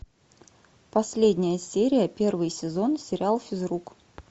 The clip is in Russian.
последняя серия первый сезон сериал физрук